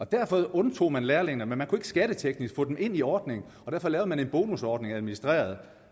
derfor undtog man lærlingene men man kunne ikke skatteteknisk få dem ind i ordningen og derfor lavede man en bonusordning administreret